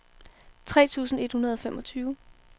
tre tusind et hundrede og femogtyve